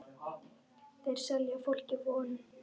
Þeir selja fólki von.